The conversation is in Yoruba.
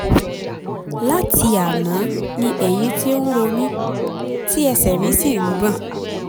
láti àná ni ẹ̀yìn ti ń ro mí tí ẹsẹ̀ mi sì ń gbọ̀n